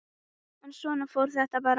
En svona fór þetta bara.